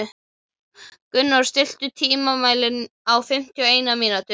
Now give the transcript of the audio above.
Gunnóli, stilltu tímamælinn á fimmtíu og eina mínútur.